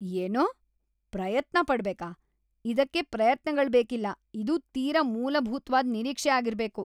ಏನು? ಪ್ರಯತ್ನ ಪಡ್ಬೇಕಾ? ಇದಕ್ಕೆ ಪ್ರಯತ್ನಗಳ್ ಬೇಕಿಲ್ಲ; ಇದು ತೀರಾ ಮೂಲಭೂತ್ವಾದ್ ನಿರೀಕ್ಷೆ ಆಗಿರ್ಬೇಕು.